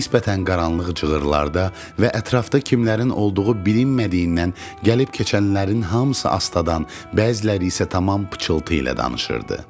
Nisbətən qaranlıq cığırlarda və ətrafda kimlərin olduğu bilinmədiyindən gəlib keçənlərin hamısı astadan, bəziləri isə tamam pıçıltı ilə danışırdı.